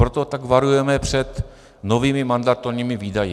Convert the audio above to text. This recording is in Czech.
Proto tak varujeme před novými mandatorními výdaji.